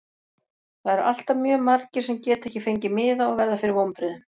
Það eru alltaf mjög margir sem geta ekki fengið miða og verða fyrir vonbrigðum.